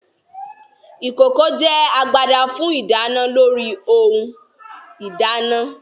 Ìkòkò jẹ́ agbada fún ìdáná lórí ohun ìdáná